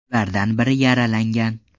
Ulardan biri yaralangan.